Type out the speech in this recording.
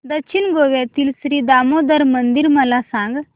दक्षिण गोव्यातील श्री दामोदर मंदिर मला सांग